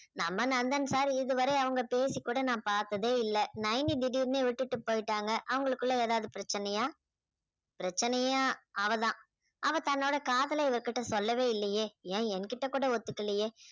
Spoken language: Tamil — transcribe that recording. நம்ம நந்தன் sir இதுவரை அவங்க பேசிக்கூட நான் பார்த்ததே இல்லை நைனி திடீர்னு விட்டுட்டு போயிட்டாங்க அவங்களுக்குள்ள ஏதாவது பிரச்சனையா பிரச்சனையே அவதான் அவ தன்னோட காதல இவர் கிட்ட சொல்லவே இல்லையே ஏன் என்கிட்ட கூட ஒத்துக்கலையே